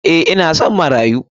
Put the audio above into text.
Eh ina son marayu.